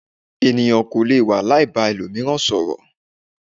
Ènìyàn kò lè wà láì ba ẹlòmíràn sọ̀rọ̀.